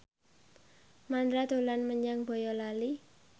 Mandra dolan menyang Boyolali